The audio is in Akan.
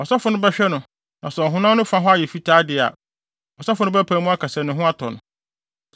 Ɔsɔfo no bɛhwɛ no na sɛ ɔhonam no fa hɔ ayɛ fitaa de a, ɔsɔfo no bɛpae mu aka sɛ ne ho atɔ no.